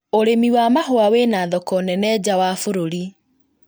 ũrĩmi wa mahũa wĩna thoko nene nja wa bũrũri